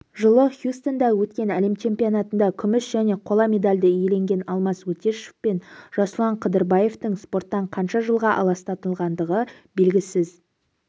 жылы хьюстонда өткен әлем чемпионатында күміс және қола медальді иеленген алмас өтешов пен жасұлан қыдырбаевтың спорттан қанша жылға аластатылғандығы белгісіз